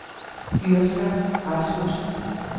Yrsa Rasmussen